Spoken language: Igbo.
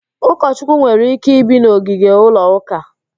Ụkọchukwu nwere ike ibi n'ogige ụlọ ụka